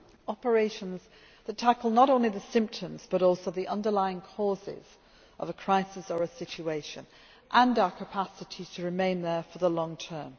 operations that tackle not only the symptoms but also the underlying causes of a crisis or a situation, and our capacity to remain there for the long term.